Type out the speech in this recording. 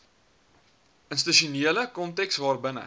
institusionele konteks waarbinne